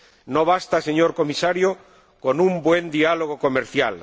No basta, señor Comisario, con un buen diálogo comercial.